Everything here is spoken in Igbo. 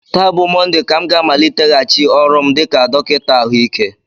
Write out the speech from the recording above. Taa bụ Mọnde ka m ga-amaliteghachi ọrụ m dịka dọkịta ahụike